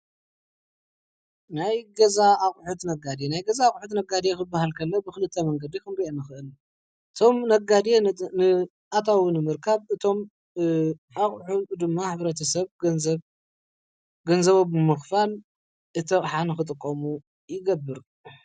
ናይ ገዛ ኣቁሑት ነጋዴ ናይ ገዛ ኣቁሑት ነጋዴ ክባሃል ከሎ ብክልተ መንገዲ ክንርኦ ንክእል እቶም ነጋዴ ኣታዊ ንምርካብ እቶም ኣቁሑት ድማ ሕብረተሰብ ገንዘቦም ብምክፋል እቲ ኣቅሓ ክጥቀሙ ይገብር።